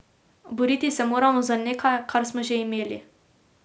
Boriti se moramo za nekaj, kar smo že imeli.